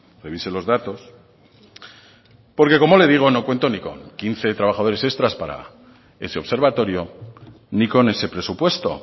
revise los datos porque como le digo no cuento ni con quince trabajadores extras para ese observatorio ni con ese presupuesto